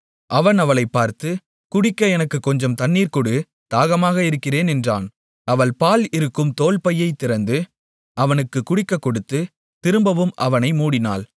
அவன் அவளைப் பார்த்து குடிக்க எனக்குக் கொஞ்சம் தண்ணீர் கொடு தாகமாக இருக்கிறேன் என்றான் அவள் பால் இருக்கும் தோல்பையை திறந்து அவனுக்குக் குடிக்கக்கொடுத்து திரும்பவும் அவனை மூடினாள்